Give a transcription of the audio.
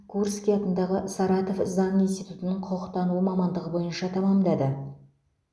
курский атындағы саратов заң институтының құқықтану мамандығы бойынша тәмамдады